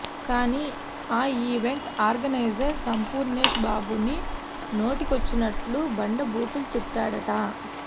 కానీ ఆ event organiser Sampoornesh బాబును నోటికొచ్చినట్టు బండ బూతులు తిట్టాడట